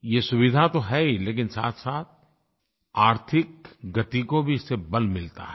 ये सुविधा तो है ही लेकिन साथसाथ आर्थिक गति को भी इससे बल मिलता है